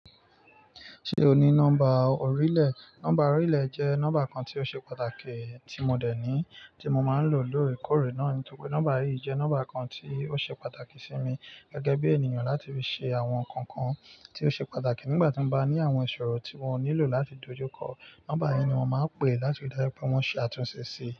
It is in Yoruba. Ṣé o ní nọ́mbà orílẹ̀? Nọ́mbà orílẹ̀ jẹ́ nọ́mbà kan tí ó ṣe pàtàkì tí mo dẹ̀ ní tí mo máa ń lò lóòrèkóòrè náà ni. Nítorí pé nọ́mbà yìí jẹ́ nọ́mbà kan tí ó ṣe pàtàkì sí mi gẹ́gẹ́ bí ènìyàn láti fi ṣe àwọn nǹkan kan tí ó ṣe pàtàkì nígbà tí mo bá ní àwọn ìṣòro tí wọ́n nílò láti dojúkọ. Nọ́mbà yìí ni wọ́n máa pè láti rí dájú pé wọ́n ṣe àtúnṣe sí i.